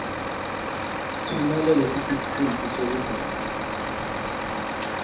tfumela lesitifiketi sekubhalisa